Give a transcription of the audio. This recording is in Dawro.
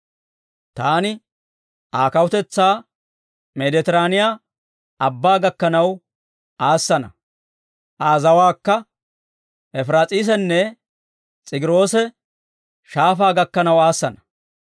Taani Aa kawutetsaa Medetiraaniyaa Abbaa gakkanaw aassana; Aa zawaakka, Efiraas'eesenne S'egiroose Shaafaa gakkanaw aassana.